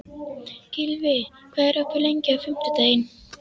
Gylfi, hvað er opið lengi á fimmtudaginn?